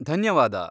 ಧನ್ಯವಾದ.